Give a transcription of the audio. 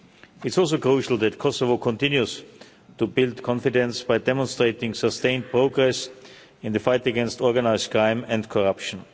It's also crucial that Kosovo continues to build confidence by demonstrating sustained progress in the fight against organised crime and corruption.